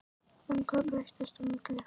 En hvað breyttist á milli?